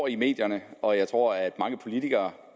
i medierne og jeg tror at mange politikere